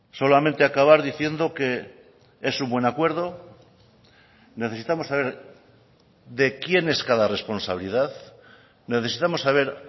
solamente acabar diciendo que es un buen acuerdo necesitamos saber de quién es cada responsabilidad necesitamos saber